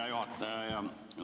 Hea juhataja!